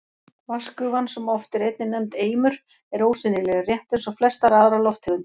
Vatnsgufan, sem oft er einnig nefnd eimur, er ósýnileg, rétt eins og flestar aðrar lofttegundir.